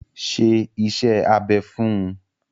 Ṣe iṣẹ́ abẹ fún un!